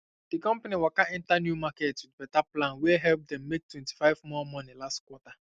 di company waka enter new market with better plan wey help dem make 25 more money last quarter